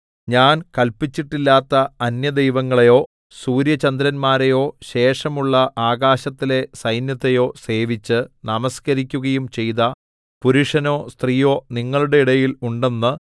ഞാൻ കല്പിച്ചിട്ടില്ലാത്ത അന്യ ദൈവങ്ങളെയോ സൂര്യചന്ദ്രന്മാരെയോ ശേഷമുള്ള ആകാശത്തിലെ സൈന്യത്തെയോ സേവിച്ച് നമസ്കരിക്കുകയും ചെയ്ത പുരുഷനോ സ്ത്രീയോ നിങ്ങളുടെ ഇടയിൽ ഉണ്ടെന്ന്